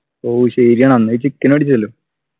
ഓ ശരിയാണ് അന്ന് നീ chicken അടിച്ചല്ലോ